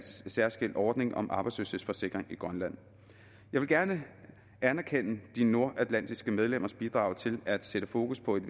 særskilt ordning om arbejdsløshedsforsikring i grønland jeg vil gerne anerkende de nordatlantiske medlemmers bidrag til at sætte fokus på et